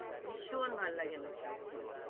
ভীষণ ভাল লাগে আমার সেই ছবিটা।